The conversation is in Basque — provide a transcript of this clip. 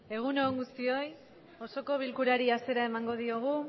egun on guztioi osoko bilkurari hasiera emango diogu